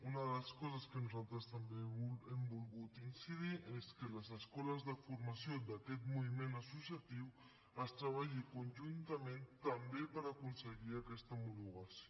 una de les coses en què nosaltres també hem volgut incidir és que a les escoles de formació d’aquest moviment associatiu es treballi conjuntament també per aconseguir aquesta homologació